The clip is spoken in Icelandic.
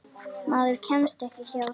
Maður kemst ekki hjá því.